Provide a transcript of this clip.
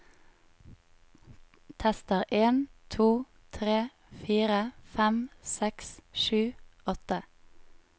Tester en to tre fire fem seks sju åtte